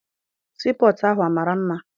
Sii pọtụ ahụ mara mma.